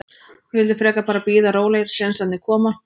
Við vildum frekar bara bíða rólegir, sénsarnir koma.